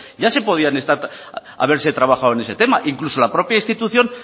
ya se podían estar haberse trabajado en ese tema incluso la propia institución